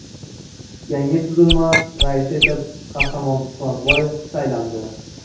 Yangi tuzilma raisi etib Qahramon Quronboyev saylandi .